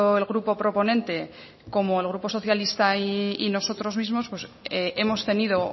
el grupo proponente como el grupo socialista y nosotros mismos hemos tenido